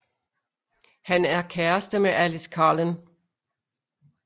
Han er kæreste med Alice Cullen